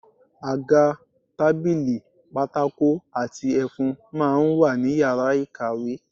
Àga, tábìlì, pátákó àti ẹfun máa ń wà ní yàrá ìkàwé